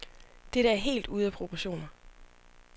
Dette er helt ude af proportioner.